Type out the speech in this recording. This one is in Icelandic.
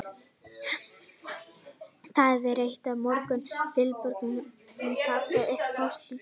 Það er eitt af morgunverkum Vilborgar Kristjánsdóttur að taka upp póstinn.